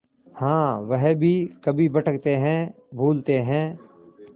हाँ वह भी कभी भटकते हैं भूलते हैं